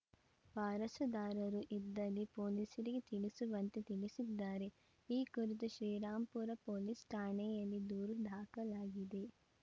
ವಾರಸುದಾರರು ಇದ್ದಲ್ಲಿ ಪೊಲೀಸರಿಗೆ ತಿಳಿಸುವಂತೆ ತಿಳಿಸಿದ್ದಾರೆ ಈ ಕುರಿತು ಶ್ರೀರಾಂಪುರ ಪೊಲೀಸ್‌ ಠಾಣೆಯಲ್ಲಿ ದೂರು ದಾಖಲಾಗಿದೆ